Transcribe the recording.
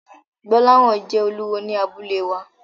Gbolahan jẹ́ olúwo ní abúlé wa.